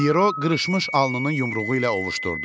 Pyero qırışmış alnını yumruğu ilə ovuuşdurdu.